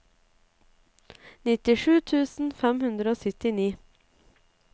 nittisju tusen fem hundre og syttini